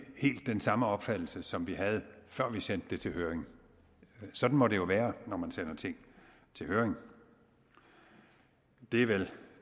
helt den samme opfattelse som vi havde før vi sendte det til høring sådan må det jo være når man sender ting til høring det er vel